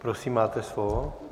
Prosím, máte slovo.